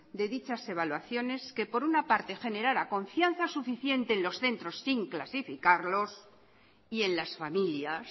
de dichas evaluaciones que por una parte generara confianza suficientes en los centros sin clasificarlos y en las familias